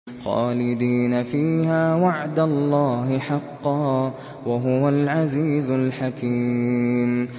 خَالِدِينَ فِيهَا ۖ وَعْدَ اللَّهِ حَقًّا ۚ وَهُوَ الْعَزِيزُ الْحَكِيمُ